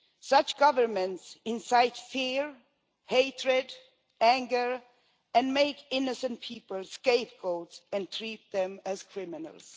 Such governments incite fear, hatred, anger, and make innocent people scapegoats and treat them as criminals.